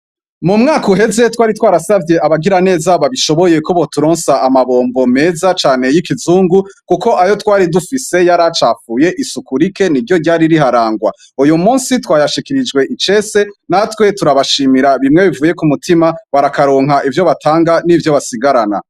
Mu mwaka uheze, twari twarasabye abagira neza babishoboye ko boturonsa amabombo meza cane y'ikizungu kuko ayo twari dufise yari acafuye, isuku rike ni ryo ryari riharangwa uyu munsi twayashekirijwe icese natwe turabashimira bimwe bivuye ku mutima, barakaronka ivyo batanga n'ivyo basigarana.